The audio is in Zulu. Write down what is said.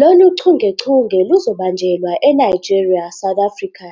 Lolu chungechunge luzobanjelwa eNigeria, South Africa,